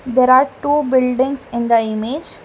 There are two buildings in the image.